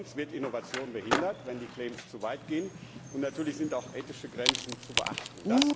Sonst wird Innovation behindert, wenn die claims zu weit gehen, und natürlich sind auch ethische Grenzen zu beachten.